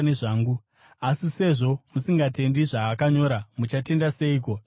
Asi sezvo musingatendi zvaakanyora, muchatenda seiko zvandinoreva?”